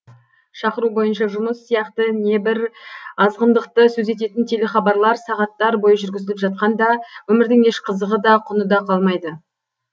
шақыру бойынша жұмыс сияқты небір азғындықты сөз ететін телехабарлар сағаттар бойы жүргізіліп жатқанда өмірдің еш қызығы да құны да қалмайды